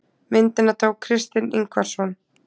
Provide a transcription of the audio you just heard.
Myndina tók Kristinn Ingvarsson.